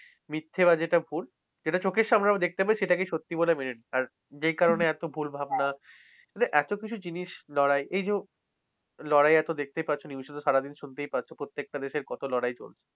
মিথ্যা বা যেটা ভুল যেটা চোখের সামনে আমরা দেখতে পাই সেটাকে সত্যি বলে মেনে নেয়। আর যেই কারনে এত ভুল ভাবনা মানে এতকিছু জিনিস লড়াই। এই যে লড়াই এত দেখতেই পাচ্ছো news এ তো সারাদিন শুনতেই পাচ্ছো। একটা দেশে কত লড়াই চলছে।